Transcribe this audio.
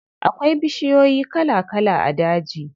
Akwai bishiyoyi kala kala a daji.